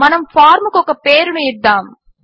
మన ఫార్మ్ కు ఒక పేరును ఇద్దాము